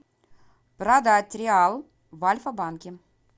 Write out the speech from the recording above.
продать реал в альфа банке